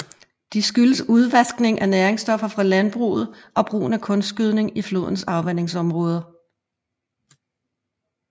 De skyldes udvaskning af næringsstoffer fra landbruget og brugen af kunstgødning i flodens afvandingsområde